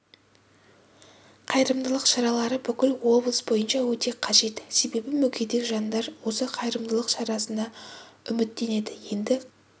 қайырымдылық шаралары бүкіл облыс бойынша өте қажет себебі мүгедек жандар осы қайырымдылық шарасына үміттенеді енді қазіргі